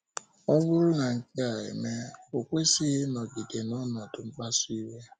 Ọ bụrụ na nke a emee, o kwesịghị ịnọgide n’ọnọdụ mkpasu iwe.